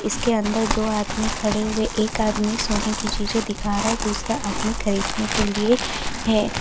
इसके अंदर दो आदमी खड़े हुए एक आदमी सोने की चीजें दिखा रहा है दूसरा आदमी खरीदने के लिए है।